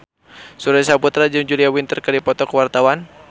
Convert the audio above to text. Surya Saputra jeung Julia Winter keur dipoto ku wartawan